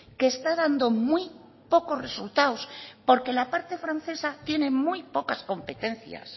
que está dando muy pocos resultados porque la parte francesa tienen muy pocas competencias